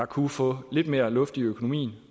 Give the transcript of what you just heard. kunne få lidt mere luft i økonomien